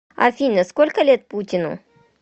афина сколько лет путину